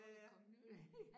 Så der kommet nye